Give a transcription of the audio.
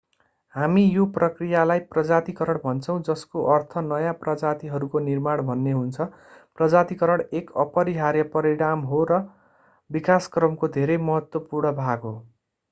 हामी यो प्रक्रियालाई प्रजातीकरण भन्छौँ जसको अर्थ नयाँ प्रजातिहरूको निर्माण भन्ने हुन्छ प्रजातीकरण एक अपरिहार्य परिणाम हो र विकासक्रमको धेरै महत्त्वपूर्ण भाग हो